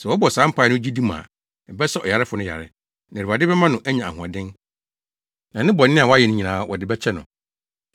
Sɛ wɔbɔ saa mpae no gyidi mu a, ɛbɛsa ɔyarefo no yare, na Awurade bɛma no anya ahoɔden, na ne bɔne a wayɛ nyinaa, wɔde bɛkyɛ no.